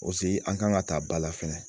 an kan ka taa ba la fɛnɛ